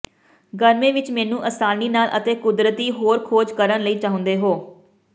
ਗਰਮੀ ਵਿਚ ਮੈਨੂੰ ਆਸਾਨੀ ਨਾਲ ਅਤੇ ਕੁਦਰਤੀ ਹੋਰ ਖੋਜ ਕਰਨ ਲਈ ਚਾਹੁੰਦੇ ਹੋ